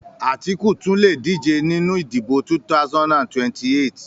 Àtíkù tún lè díje nínú ìdìbò 2028